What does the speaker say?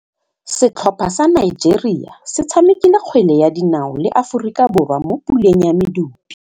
Setlhopha sa Nigeria se tshamekile kgwele ya dinaô le Aforika Borwa mo puleng ya medupe.